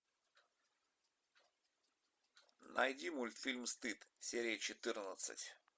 найди мультфильм стыд серия четырнадцать